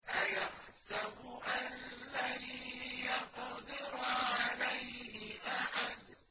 أَيَحْسَبُ أَن لَّن يَقْدِرَ عَلَيْهِ أَحَدٌ